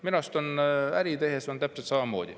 Minu arust on äri tehes täpselt samamoodi.